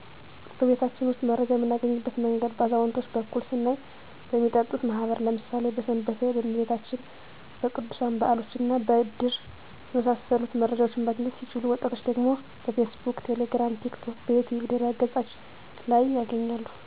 በቤታችን ውስጥ መረጃ የምናገኝበት መንገድ በአዛውንቶች በኩል ስናይ በሚጠጡት ማህበር ለምሣሌ በስንበቴ፣ በመቤታችን፣ በቅዱሣን በዓሎችና በድር በመሣሰሉት መረጃዎችን ማግኘት ሲችሉ ወጣቶች ደግሞ በፌስቡክ፣ ቴሌግራም፣ ቲክቶክ፣ በዩትዩብ ድህረ ገፆች ላይ ያገኛሉ።